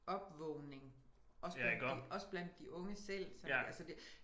Opvågning også blandt de også blandt de unge selv sådan altså det